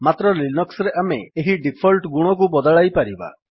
ମାତ୍ର ଲିନକ୍ସ୍ ରେ ଆମେ ଏହି ଡିଫଲ୍ଟ୍ ଗୁଣକୁ ବଦଳାଇ ପାରିବା